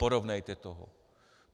Porovnejte to.